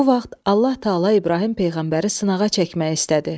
Bu vaxt Allah Təala İbrahim peyğəmbəri sınağa çəkmək istədi.